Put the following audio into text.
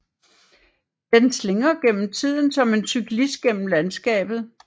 Den slingrer gennem tiden som en cyklist gennem landskabet